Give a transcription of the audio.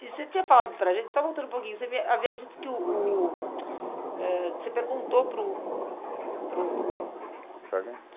E você tinha falado para a gente, só voltando um pouquinho, você havia havia dito que o o ãh... que você perguntou para o... para o... Sargento?